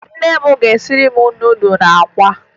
Nne m ga-esiri m nudụ na akwa